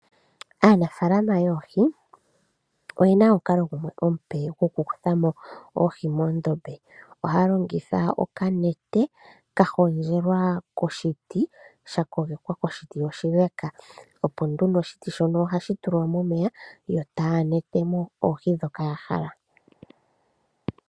Aanafaalama yoohi oyena omukalo omupe goku kuthamo oohi moondombe. Ohaya longitha okanete ka hondjelwa koshiti sha kogekwa koshiti oshileka opo nduno oshiti shono ohashi tulwa momeya yo taya netemo oohi dhoka ya hala.